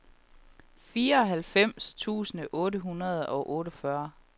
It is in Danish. fireoghalvfems tusind otte hundrede og otteogfyrre